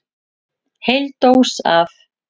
Heil dós af